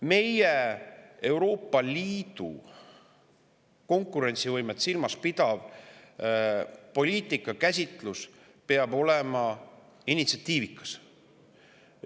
Meie Euroopa Liidu konkurentsivõimet silmas pidav poliitikakäsitlus peab olema initsiatiivikas.